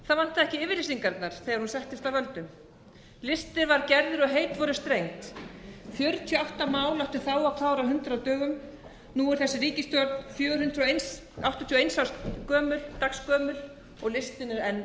það vantaði ekki yfirlýsingarnar þegar hún settist að völdum listi verð gerður og heit voru strengd fjörutíu og átta mál áttu þá að klára á hundrað dögum nú er þessi ríkisstjórn fjögur hundruð áttatíu og eins dags gömul og listinn er